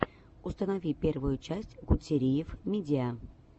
установи первую часть гутсериев мидиа